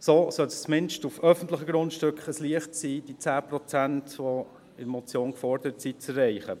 So sollte es zumindest auf öffentlichen Grundstücken ein Leichtes sein, diese 10 Prozent, die in der Motion gefordert sind, zu erreichen.